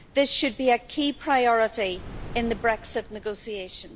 This should be a key priority in the Brexit negotiations.